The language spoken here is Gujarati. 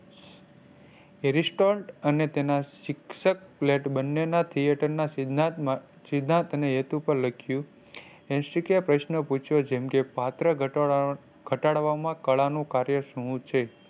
અને તેના શિક્ષક Plate બંને ના theater ના સિદ્ધાંત ના સિદ્ધાંત ને હેતુ પર લખ્યું પ્રશ્ન પૂછ્યો જેમ કે પાત્ર ઘટા ઘટાડવામાં કળા નું કાર્ય શું છે.